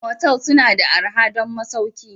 Motels suna da arha don masauki